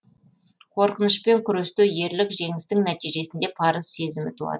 қорқынышпен күресте ерлік жеңістің нәтижесінде парыз сезімі туады